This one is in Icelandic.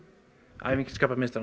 æfingin skapar meistarann